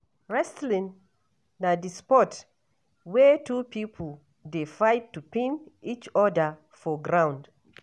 Wrestling na di sport wey two pipo dey fight to pin eachoda for ground.